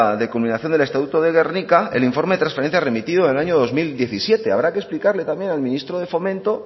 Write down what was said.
de combinación del estatuto de gernika el informe trasferencia remitido en el año dos mil diecisiete habrá que explicarle también al ministro de fomento